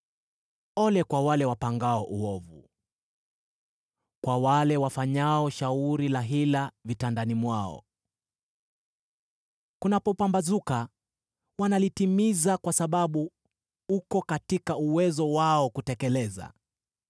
Ole kwa wale wapangao uovu, kwa wale wafanyao shauri la hila vitandani mwao! Kunapopambazuka wanalitimiza kwa sababu uko katika uwezo wao kutekeleza.